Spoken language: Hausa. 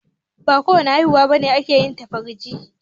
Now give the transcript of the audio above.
Ba ko wani haihuwa bane ake yi ta farji